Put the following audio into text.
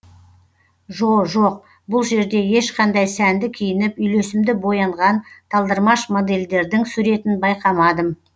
жо жоқ бұл жерде ешқандай сәнді киініп үйлесімді боянған талдырмыш модельдердің суретін байқамадым